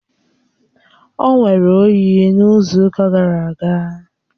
O nwere oyi n’izu ụka gara aga